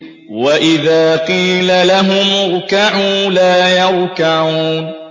وَإِذَا قِيلَ لَهُمُ ارْكَعُوا لَا يَرْكَعُونَ